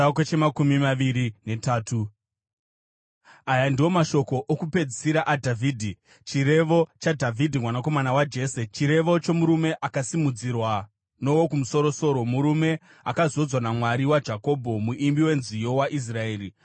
Aya ndiwo mashoko okupedzisira aDhavhidhi: “Chirevo chaDhavhidhi mwanakomana waJese, Chirevo chomurume akasimudzirwa noWokumusoro-soro, murume akazodzwa naMwari waJakobho, muimbi wenziyo waIsraeri: